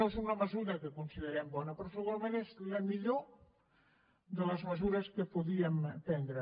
no és una mesura que considerem bona però segurament és la millor de les mesures que podíem prendre